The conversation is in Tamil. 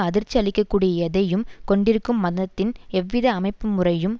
அதிர்ச்சி அளிக்க கூடிய எதையும் கொண்டிருக்கும் மதத்தின் எவ்வித அமைப்புமுறையும்